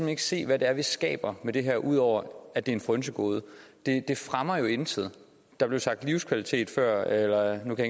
ikke se hvad det er vi skaber med det her ud over at det er et frynsegode det fremmer jo intet der blev sagt livskvalitet før eller nu kan